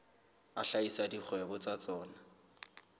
a hlahisa dikgwebo tsa tsona